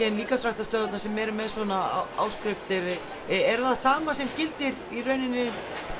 en líkamsræktarstöðvarnar sem eru með svona áskriftir er það sama sem gildir í rauninni